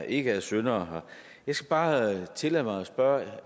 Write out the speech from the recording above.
ikke er syndere jeg skal bare tillade mig at spørge